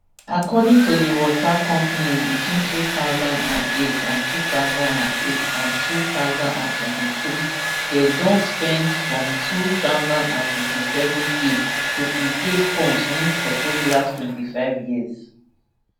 according to di water company between two thousand and eight and two thousand and eight and two thousand and twenty-three dey don spend ghfourm two hundred and fifty-sevenk to replace pumps wia suppose last twenty-five years